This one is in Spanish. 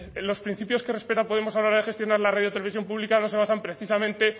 en los principios que respeta podemos a la hora de gestionar la radio televisión pública no se basan precisamente